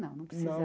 Não, não